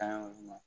Tan yɔrɔ ma